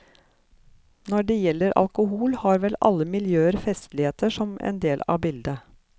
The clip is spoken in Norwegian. Når det gjelder alkohol, har vel alle miljøer festligheter som en del av bildet.